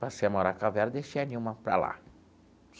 Passei a morar com a Vera e deixei a Nilma para lá.